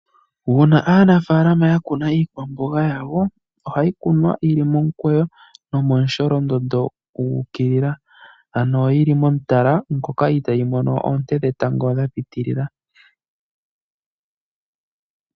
Uuna aanafaalama yakuna iikwamboga yawo ohayi kunwa yili omukweyo nomomusholondondo gu ukilila ano yili momutala moka itayi mono oonte dhetango dha pitilila.